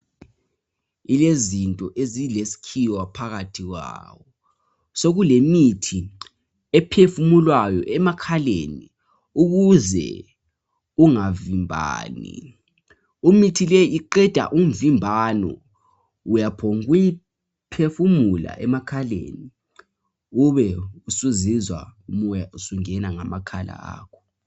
Yilezinto ezilesikhiwa phakathi kwawo. Sokulemithi ephefumulwayo emakhaleni ukuze ungavimbani. Imithi leyi iqeda umvimbano ngokuyiphefumula nje emakhaleni ube usuzizwa umoya usungena ngamakhala akho.